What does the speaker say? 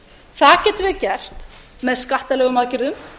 það getum við gert með skattalegum aðgerðum